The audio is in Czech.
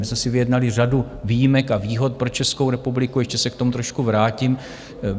My jsme si vyjednali řadu výjimek a výhod pro Českou republiku, ještě se k tomu trošku vrátím.